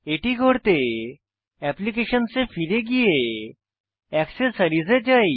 এটি করতে অ্যাপ্লিকেশনস এ ফিরে গিয়ে অ্যাক্সেসরিজ এ যাই